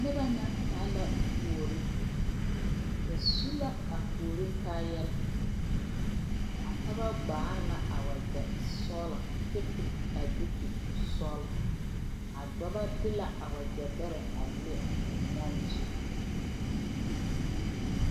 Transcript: Noba ŋa taa la kuori ba su la a kuori kaayare a pɔge gbaare la a wagye sɔgla kyɛ piri a duuku sɔgla a dɔbɔ de la wagye bɛrɛ a le ba nyaaare zu.